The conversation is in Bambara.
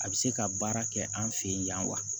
A bɛ se ka baara kɛ an fɛ yen yan wa